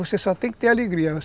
Você só tem que ter alegria.